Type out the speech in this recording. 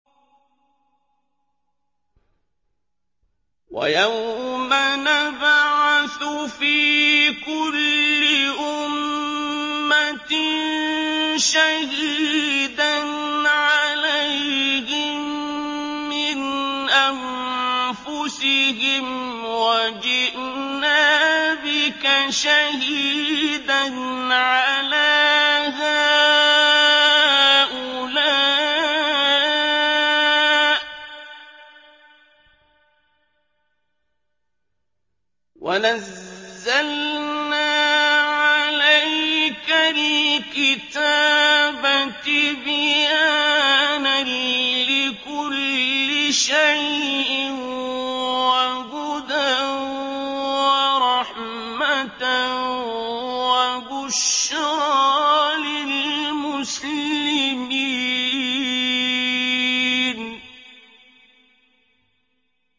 وَيَوْمَ نَبْعَثُ فِي كُلِّ أُمَّةٍ شَهِيدًا عَلَيْهِم مِّنْ أَنفُسِهِمْ ۖ وَجِئْنَا بِكَ شَهِيدًا عَلَىٰ هَٰؤُلَاءِ ۚ وَنَزَّلْنَا عَلَيْكَ الْكِتَابَ تِبْيَانًا لِّكُلِّ شَيْءٍ وَهُدًى وَرَحْمَةً وَبُشْرَىٰ لِلْمُسْلِمِينَ